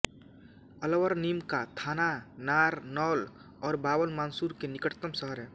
अलवर नीम का थाना नारनौल और बावल बानसूर के निकटतम शहर हैं